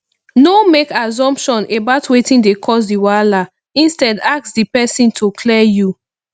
no make assumption about wetin dey cause di wahala instead ask di person to clear you